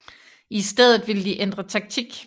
I stedet ville de ændre taktik